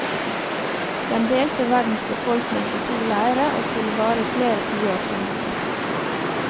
Den delte verdens befolkning i to leire og skulle vare i flere tiår fremover.